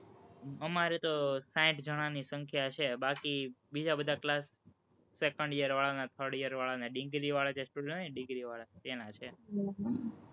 અમારે તો સાઠ જણાની સંખ્યા છે, બાકી બીજા બધા class, second year વાળાના third year વાળાના degree વાળા જે student હોય ને, degree વાળા, તેના છે.